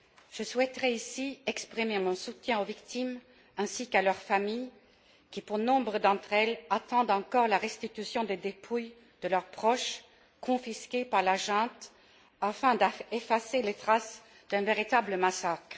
Je souhaiterais ici exprimer mon soutien aux victimes ainsi qu'à leurs familles qui, pour nombre d'entre elles, attendent encore la restitution des dépouilles de leurs proches, confisquées par la junte afin d'effacer les traces d'un véritable massacre.